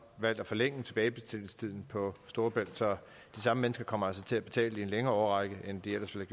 valgt at forlænge tilbagebetalingstiden på storebælt så de samme mennesker kommer altså til at betale i en længere årrække end de ellers ville